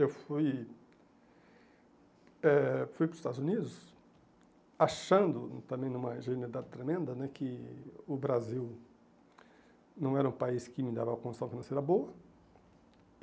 Eu fui eh fui para os Estados Unidos achando, também numa ingenuidade tremenda né, que o Brasil não era um país que me dava uma condição financeira boa.